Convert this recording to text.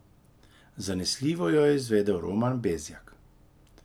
Zanesljivo jo je izvedel Roman Bezjak.